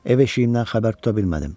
Ev eşiyimdən xəbər tuta bilmədim.